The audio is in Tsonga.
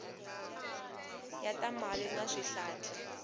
ya ta mati na swihlahla